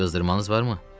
Qızdırmanız varmı?